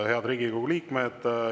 Head Riigikogu liikmed!